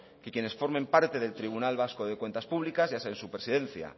que quienes formen parte del tribunal vasco de cuentas públicas ya sea en su presidencia